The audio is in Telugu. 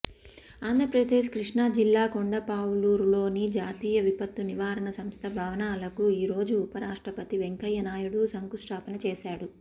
ఆంధ్రప్రదేశ్ కృష్ణా జిల్లా కొండపావులూరులోని జాతీయ విపత్తు నివారణ సంస్థ భవనాలకు ఈరోజు ఉపరాష్ట్రపతి వెంకయ్యనాయుడు శంకుస్థాపన చేశారు